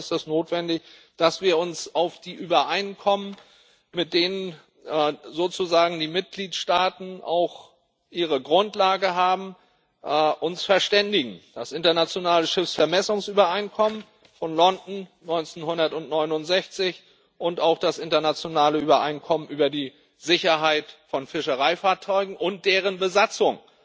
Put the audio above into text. Und deshalb ist es notwendig, dass wir uns auf die Übereinkommen, mit denen sozusagen die Mitgliedstaaten auch ihre Grundlage haben, uns verständigen das Internationale Schiffsvermessungsübereinkommen von London 1969 und auch das Internationale Übereinkommen über die Sicherheit von Fischereifahrzeugen und deren Besatzung